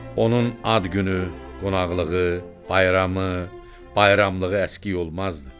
Onun ad günü, qonaqlığı, bayramı, bayramlığı əskik olmazdı.